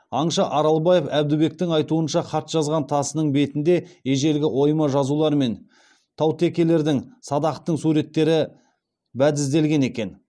аңшы аралбаев әбдібектің айтуынша хат жазған тасының бетінде ежелгі ойма жазулар мен таутекелердің садақтың суреттері бәдізделген екен